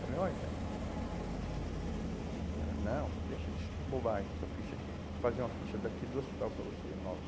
Falei, olha, então, aí ela, não, deixa de bobagem essa ficha aqui, vou fazer uma ficha daqui do hospital para você, nova.